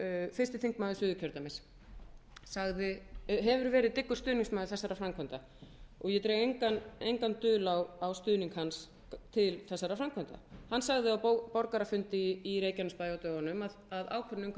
fyrsti þingmaður suðurkjördæmis hefur verið dyggur stuðningsmaður þessara framkvæmda og ég dreg engan dul á stuðning hans til þessara framkvæmda hann sagði á borgarafundi í reykjanesbæ á dögunum að ákvörðun umhverfisráðherra væri